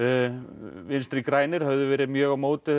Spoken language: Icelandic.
vinstri græn höfðu verið mjög á móti